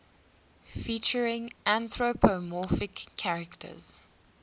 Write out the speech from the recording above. featuring anthropomorphic characters